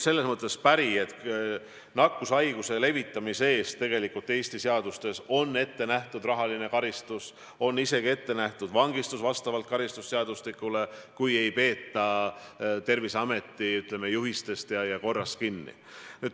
Nakkushaiguse levitamise eest on tegelikult Eesti seadustes ette nähtud rahaline karistus, vastavalt karistusseadustikule on isegi ette nähtud vangistus, kui ei peeta Terviseameti juhistest ja muust ettenähtud korrast kinni.